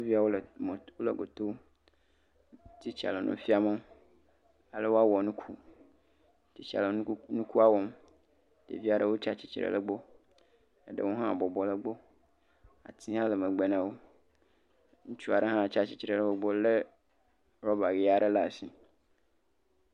Sukuviawo le fima, wole goto, titsa le nu fiam wo ale woawɔ nuku, titsa le nukuku.. nukua wɔm ɖevia ɖewo tsi atsitre ɖe wo gbɔ, ŋutsu aɖe hã tsi atsitre le wo gbɔ lé rɔba ʋi aɖe la si.